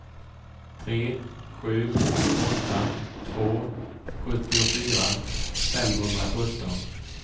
tre sju åtta två sjuttiofyra femhundrasjutton